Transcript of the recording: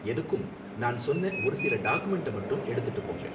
எதுக்கும், நான் சொன்ன ஒரு சில டாக்குமென்ட்ட மட்டும் எடுத்துட்டு போங்க.